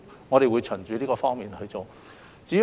我們會從這方面作出處理。